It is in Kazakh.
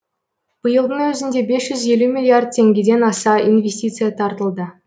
биылдың өзінде бес жүз елу миллиард теңгеден аса инвестиция тартылды